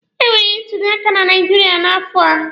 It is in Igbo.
Emere ntuli aka na Naijiria n'afọ a.